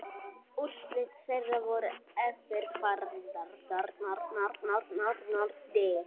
Úrslit þeirra voru eftirfarandi